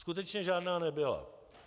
Skutečně žádná nebyla.